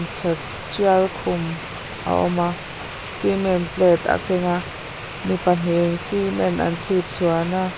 sawt tial kum a awma cement plate a kenga mi pahnihin cement an chhipchhuan a.